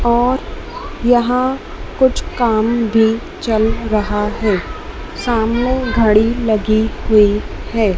और यहां कुछ काम भी चल रहा है सामने घड़ी लगी हुई है।